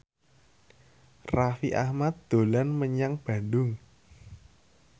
Raffi Ahmad dolan menyang Bandung